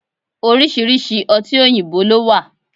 Oriṣiriṣi ọtí oyinbo ló wà